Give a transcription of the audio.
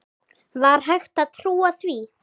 Var hægt að trúa því?